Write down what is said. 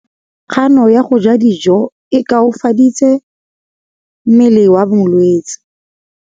Kganô ya go ja dijo e koafaditse mmele wa molwetse.